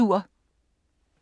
Skønlitteratur